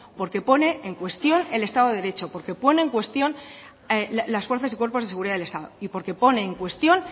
porque pone en cuestión el estado de derecho porque ponen en cuestión las fuerzas y cuerpos de seguridad del estado y porque pone en cuestión